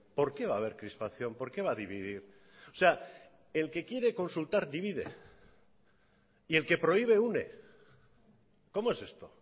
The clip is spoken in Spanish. por qué va a haber crispación por qué va a dividir o sea el que quiere consultar divide y el que prohíbe une cómo es esto